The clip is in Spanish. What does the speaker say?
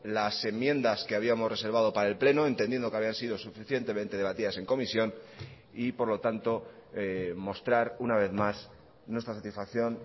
las enmiendas que habíamos reservado para el pleno entendiendo que habían sido suficientemente debatidas en comisión y por lo tanto mostrar una vez más nuestra satisfacción